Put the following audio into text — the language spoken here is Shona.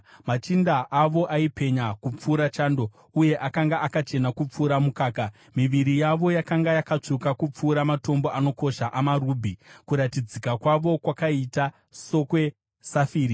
Machinda avo aipenya kupfuura chando, uye akanga akachena kupfuura mukaka, miviri yavo yakanga yakatsvuka kupfuura matombo anokosha amarubhi, kuratidzika kwavo kwakaita sokwesafiri.